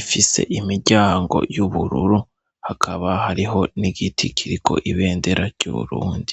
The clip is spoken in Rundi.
ifise imiryango y'ubururu hakaba hariho n'igiti kiriko ibendera ry'uburundi.